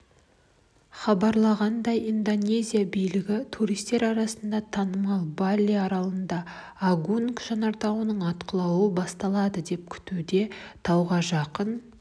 хабарлағандай индонезия билігі туристер арасында танымал бали аралында агунг жанартауының атқылауы басталады деп күтуде тауға жақын